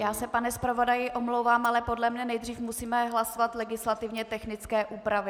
Já se, pane zpravodaji, omlouvám, ale podle mě nejdříve musíme hlasovat legislativně technické úpravy.